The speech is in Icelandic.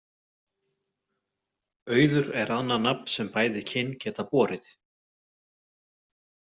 Auður er annað nafn sem bæði kyn geta borið.